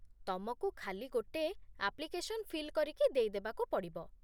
ତମକୁ ଖାଲି ଗୋଟେ ଆପ୍ଲିକେସନ୍ ଫିଲ୍ କରିକି ଦେଇ ଦେବାକୁ ପଡ଼ିବ ।